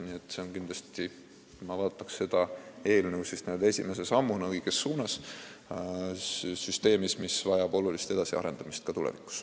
Nii et kindlasti vaataksin ma seda eelnõu n-ö esimese sammuna õiges suunas selles süsteemis, mis vajab olulist edasiarendamist ka tulevikus.